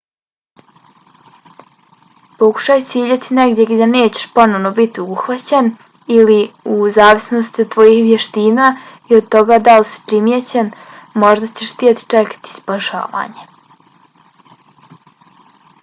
pokušaj ciljati negdje gdje nećeš ponovo biti uhvaćen ili u zavisnosti od tvojih vještina i od toga da li si primijećen možda ćeš htjeti čekati spašavanje